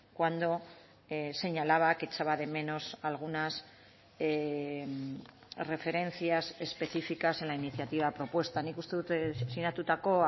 cuando señalaba que echaba de menos algunas referencias específicas en la iniciativa propuesta nik uste dut sinatutako